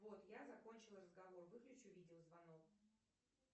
бот я закончила разговор выключи видео звонок